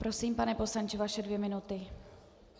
Prosím, pane poslanče, vaše dvě minuty.